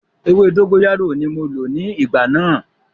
Ewé dógóyárò ní mo lò ní ìgbà náà.